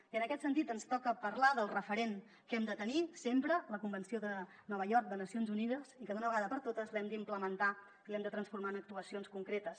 i en aquest sentit ens toca parlar del referent que hem de tenir sempre la convenció de nova york de nacions unides i que d’una vegada per totes l’hem d’implementar i l’hem de transformar en actuacions concretes